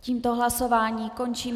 Tímto hlasování končím.